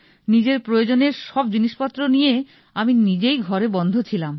নিজের প্রয়োজনের সব জিনিসপত্র নিয়ে আমি নিজেই ঘরে বন্ধ ছিলাম